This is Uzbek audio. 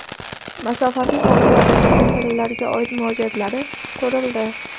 masofaviy ta’lim va boshqa masalalarga oid murojaatlari ko‘rildi.